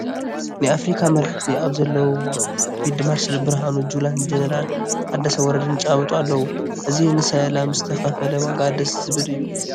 ናይ ኣፍሪካ መራሕቲ ኣብ ዘለውዎ ፊልድ ማርሻል ብሃኑ ጁላን ጀነራል ታደሰ ወረደን ይጨባበጡ ኣለዉ፡፡ እዚ ንሰላም ዝተኸፈለ ዋጋ ደስ ዝብል እዩ፡፡